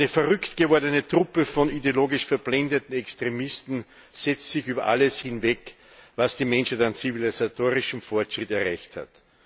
Eine verrückt gewordene Truppe von ideologisch verblendeten Extremisten setzt sich über alles hinweg, was die Menschheit an zivilisatorischem Fortschritt erreicht hat.